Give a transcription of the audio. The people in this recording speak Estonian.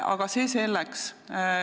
Aga see selleks.